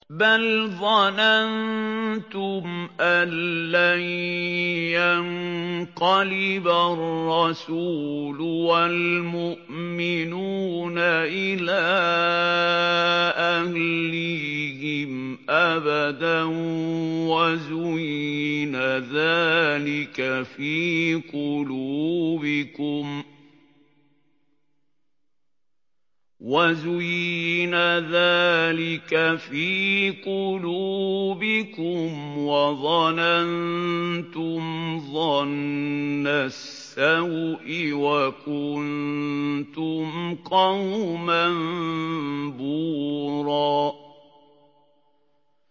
بَلْ ظَنَنتُمْ أَن لَّن يَنقَلِبَ الرَّسُولُ وَالْمُؤْمِنُونَ إِلَىٰ أَهْلِيهِمْ أَبَدًا وَزُيِّنَ ذَٰلِكَ فِي قُلُوبِكُمْ وَظَنَنتُمْ ظَنَّ السَّوْءِ وَكُنتُمْ قَوْمًا بُورًا